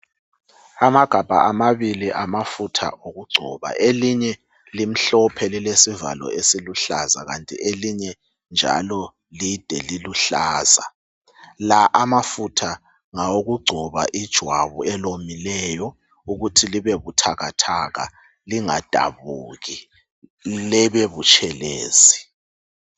Amagabha amabili amafutha okugcoba elinye limhlophe lilesivalo esiluhlaza kanti elinye njalo lide liluhlaza, la amafutha ngawokugcoba ijwabu elomileyo ukuthi libe buthakathaka lingadabuki libebutshelezi.